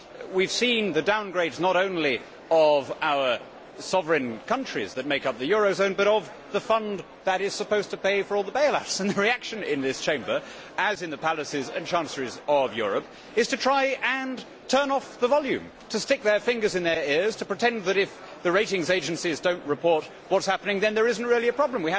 We have seen the downgrading not only of our sovereign countries that make up the eurozone, but of the fund that is supposed to pay for all the bail outs and the reaction in this Chamber, as in the palaces and chanceries of Europe, is to try to turn off the volume, to stick fingers in ears, and to pretend that if the ratings agencies do not report what is happening then there is not really a problem.